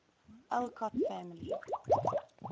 alcott family